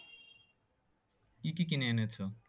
কি কি কিনে এনেছো?